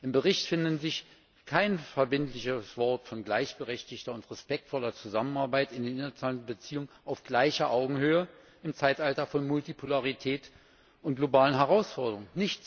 Im Bericht findet sich kein verbindlicheres Wort von gleichberechtigter und respektvoller Zusammenarbeit in den internationalen Beziehungen auf gleicher Augenhöhe im Zeitalter von Multipolarität und globalen Herausforderungen.